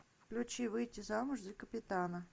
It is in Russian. включи выйти замуж за капитана